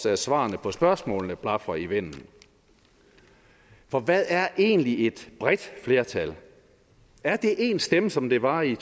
at svarene på spørgsmålene også blafrer i vinden for hvad er egentlig et bredt flertal er det én stemme som det var i